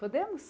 Podemos?